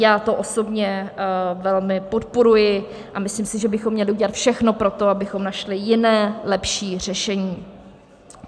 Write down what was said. Já to osobně velmi podporuji a myslím si, že bychom měli udělat všechno pro to, abychom našli jiné, lepší řešení.